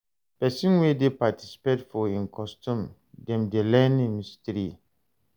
Pesin wey dey participate for im custom dem dey learn im history.